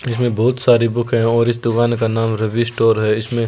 इसमें बहुत सारी बुक है और इस दुकान का नाम रवि स्टोर है इसमें --